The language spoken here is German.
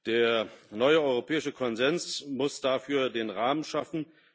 Der neue Europäische Konsens muss dafür den Rahmen schaffen.